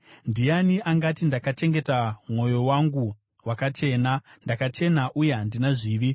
Ndiani angati, “Ndakachengeta mwoyo wangu wakachena; ndakachena uye handina zvivi”?